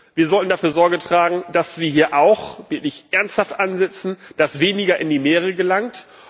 Wir sollen dafür Sorge tragen, dass wir hier auch wirklich ernsthaft ansetzen, dass weniger in die Meere gelangt.